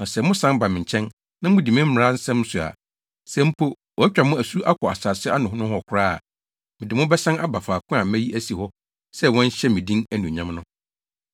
Na sɛ mosan ba me nkyɛn, na mudi me mmara nsɛm so a, sɛ mpo, wɔatwa mo asu akɔ asase ano nohɔ koraa a, mede mo bɛsan aba faako a mayi asi hɔ sɛ wɔnhyɛ me din anuonyam no.’